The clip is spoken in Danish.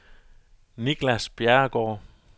Niklas Bjerregaard